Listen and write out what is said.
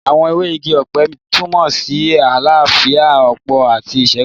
Àwọn ewé igi ọ̀pẹ túnmọ̀ sí àlàáfíà, ọ̀pọ̀ àti ìṣẹ́gun